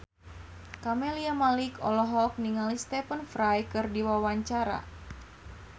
Camelia Malik olohok ningali Stephen Fry keur diwawancara